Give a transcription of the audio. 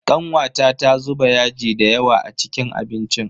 Kanwata ta zuba yaji dayawa a cikin abincin.